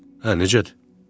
Hə, necədir?